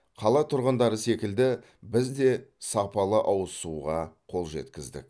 қала тұрғындары секілді біз де сапалы ауыз суға қол жеткіздік